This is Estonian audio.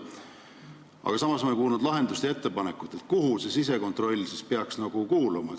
Aga samas ei kuulnud ma lahendust ja ettepanekut, kuhu see sisekontroll siis peaks kuuluma.